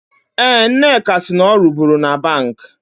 Eh, Nneka si na ọ ruburu na Bank.